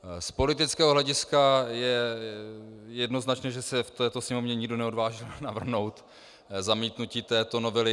Z politického hlediska je jednoznačné, že se v této Sněmovně nikdo neodvážil navrhnout zamítnutí této novely.